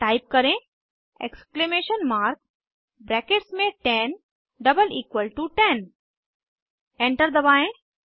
type करें exclamation mark brackets में 10 double equal to 10 enter दबाएं